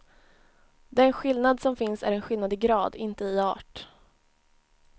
Den skillnad som finns är en skillnad i grad, inte i art.